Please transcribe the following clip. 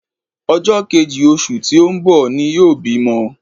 Ọjọ́ kejì oṣù tí ó ń bọ̀ ni yóò bímọ